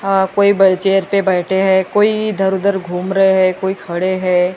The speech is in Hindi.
कोई व्हील चेयर पे बैठे हैं कोई इधर उधऱ घूम रहे हैं कोई खड़े हैं।